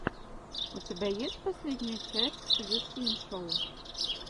у тебя есть последняя часть зэ синшоу